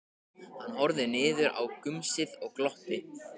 Hann horfði niður í gumsið og glotti.